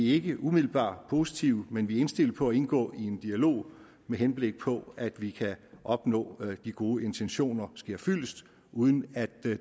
ikke umiddelbart positive men vi er indstillet på at indgå i en dialog med henblik på at vi kan opnå at de gode intentioner sker fyldest uden at